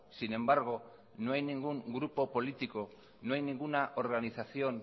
sin embargo no hay ningún grupo político no hay ninguna organización